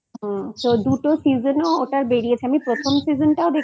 তো দুটো Season ও ওটার বেরিয়েছে আমি প্রথম season টাও